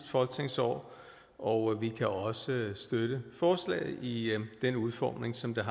folketingsår og vi kan også støtte forslaget i den udformning som det